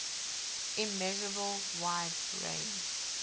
immeasurable wide range